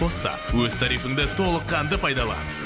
қос та өз тарифіңді толыққанды пайдалан